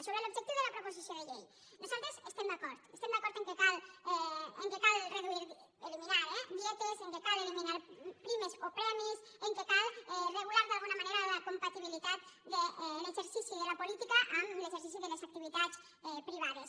sobre l’objectiu de la proposició de llei nosaltres hi estem d’acord estem d’acord que cal reduir eliminar eh dietes que cal eliminar primes o premis que cal regular d’alguna manera la compatibilitat de l’exercici de la política amb l’exercici de les activitats privades